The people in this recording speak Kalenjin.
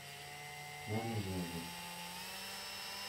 memeke kiy